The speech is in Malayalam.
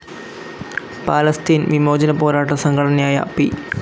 പാലസ്തീൻ വിമോചനപോരാട്ട സംഘടനയായ പി.